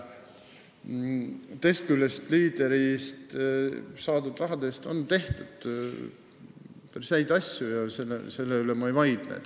Teisest küljest on Leaderist saadud raha eest häid asju tehtud, selle vastu ma ei vaidle.